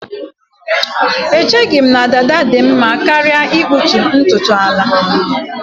Echeghị m na dada dị mma karịa ịkpụtu ntutu ala